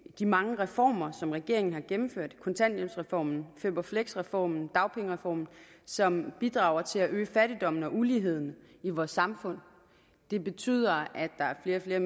de mange reformer som regeringen har gennemført kontanthjælpsreformen føp fleks reformen dagpengereformen som bidrager til at øge fattigdommen og uligheden i vores samfund det betyder at der er flere